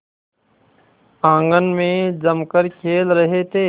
आंगन में जमकर खेल रहे थे